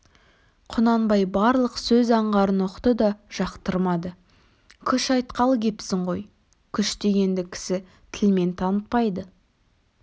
құнанбай барлық сөз аңғарын ұқты да жақтырмады күш айтқалы кепсің ғой күш дегенді кісі тілмен танытпайды